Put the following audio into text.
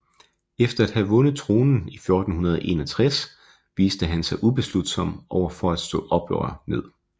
Efter at have vundet tronen i 1461 viste han sig ubeslutsom over for at slå oprør ned